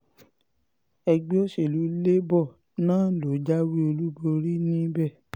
ẹgbẹ́ òsèlú labour náà ló jáwé olúborí níbẹ̀